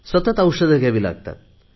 सतत औषधे घ्यावी लागतात